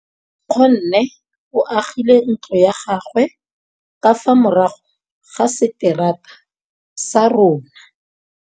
Nkgonne o agile ntlo ya gagwe ka fa morago ga seterata sa rona.